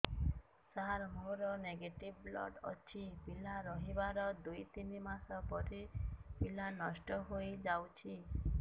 ସାର ମୋର negative blood ଅଛି ପିଲା ରହିବାର ଦୁଇ ତିନି ମାସ ପରେ ପିଲା ନଷ୍ଟ ହେଇ ଯାଉଛି